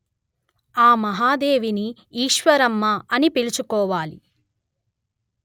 ఆ మహాదేవిని ఈశ్వరమ్మ అని పిలుచుకోవాలి